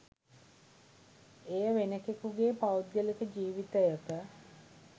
එය වෙනකෙකුගේ පෞද්ගලික ජිවිතයක